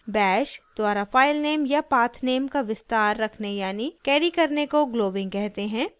* bash द्वारा filename या pathname का विस्तार रखने यानी carried करने को globbing कहते हैं